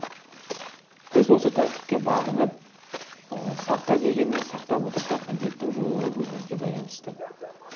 біз осы тәртіпке бағынып сақта дегенін сақтап отырсақ індеттің жойылуы өзімізге байланысты